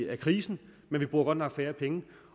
af krisen men vi bruger godt nok færre penge